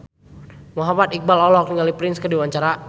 Muhammad Iqbal olohok ningali Prince keur diwawancara